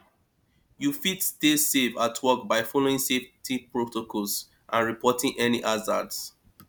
you fit stay safe at work by following safety protocols and reporting any hazards